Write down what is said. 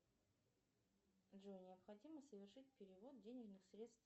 джой необходимо совершить перевод денежных средств